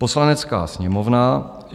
"Poslanecká sněmovna